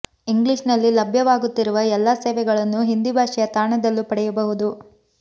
English ನಲ್ಲಿ ಲಭ್ಯವಾಗುತ್ತಿರುವ ಎಲ್ಲಾ ಸೇವೆಗಳನ್ನು ಹಿಂದಿ ಭಾಷೆಯ ತಾಣದಲ್ಲೂ ಪಡೆಯಬಹುದು